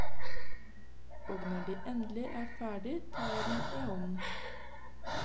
Og når de endelig er ferdige tar jeg dem i hånden.